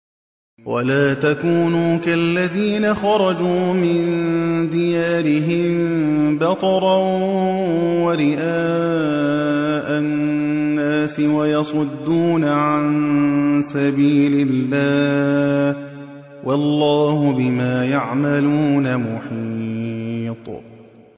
وَلَا تَكُونُوا كَالَّذِينَ خَرَجُوا مِن دِيَارِهِم بَطَرًا وَرِئَاءَ النَّاسِ وَيَصُدُّونَ عَن سَبِيلِ اللَّهِ ۚ وَاللَّهُ بِمَا يَعْمَلُونَ مُحِيطٌ